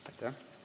Aitäh!